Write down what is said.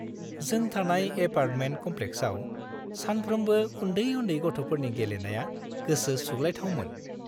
जों थानाय एपार्टमेन्ट कम्प्लेक्साव सानफ्रोमबो उन्दै-उन्दै गथ'फोरनि गेलेनाया गोसो सुग्लायथावमोन।